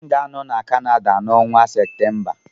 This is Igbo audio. M ga-anọ na Canada n'ọnwa Septemba